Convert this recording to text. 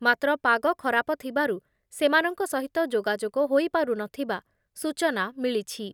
ମାତ୍ର ପାଗ ଖରାପ ଥିବାରୁ ସେମାନଙ୍କ ସହିତ ଯୋଗାଯୋଗ ହୋଇପାରୁନଥିବା ସୂଚନା ମିଳିଛି।